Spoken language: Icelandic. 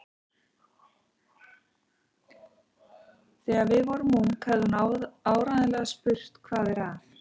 Þegar við vorum ung hefði hún áreiðanlega spurt: Hvað er að?